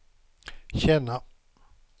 känna